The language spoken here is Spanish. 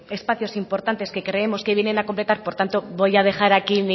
espacios importantes que creemos que vienen a completar por tanto voy a dejar aquí